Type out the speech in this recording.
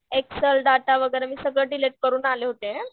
Excel data वगैरे मी सगळं डिलीट करून आले होते.